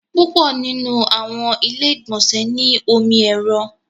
Púpọ̀ nínu àwọn ilẹ̀-ìgbọ̀nsẹ̀ ni ọmọ èrò.